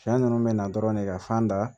Fiɲɛ nunnu bɛ na dɔrɔn ne ka fan da